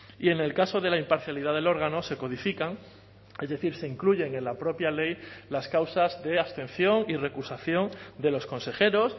y en el caso de la imparcialidad del órgano se codifican es decir se incluyen en la propia ley las causas de abstención y recusación de los consejeros